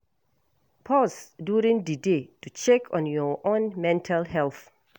Pause during di day to check on your own mental health